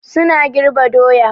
suna girbe doya.